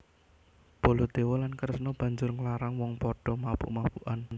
Baladewa lan Kresna banjur nglarang wong wong padha mabuk mabukan